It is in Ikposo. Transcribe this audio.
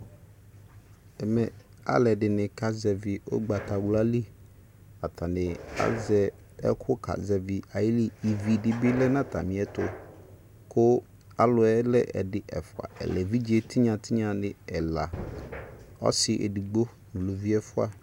ɛmɛ aledini kasɛvi ugbatawlali atani azɛ ɛku kasɛvi ayili evi dibi lɛ no atamiɛto ku aluɛ lɛ ɛdi ɛfua ɛlɛevijetiyatiyani ɛla ɔsi edigbo uluvi ɛfua